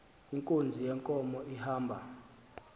inkunzi yenkomo ihamba